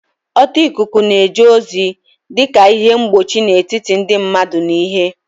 Ọta ikuku na-eje ozi dị ka ihe mgbochi n'etiti ndị mmadụ na ihe